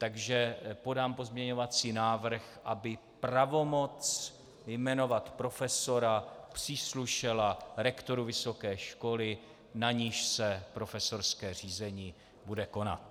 Takže podám pozměňovací návrh, aby pravomoc jmenovat profesora příslušela rektoru vysoké školy, na níž se profesorské řízení bude konat.